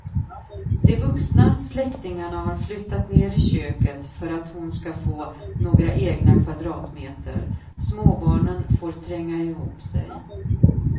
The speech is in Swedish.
De vuxna släktingarna har flyttat ner i köket för att hon ska få några egna kvadratmeter, småbarnen får tränga ihop sig.